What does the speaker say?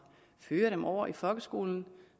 fører dem over i folkeskolen